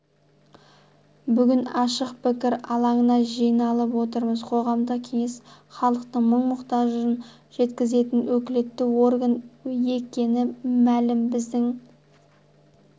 бүгін ашық пікір алаңына жиналып отырмыз қоғамдық кеңес халықтың мұң-мұқтажын жеткізетін өкілетті орган екені млім біздің